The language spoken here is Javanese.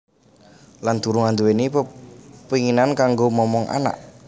Lan durung anduweni pepenginan kanggo momong anak